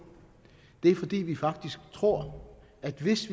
det er fordi vi faktisk tror at hvis